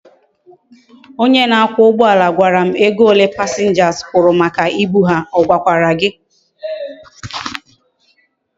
Onye na akwa ugboala gwara m ego ole passengers kwuru maka ibu ha, ogwakwara gi?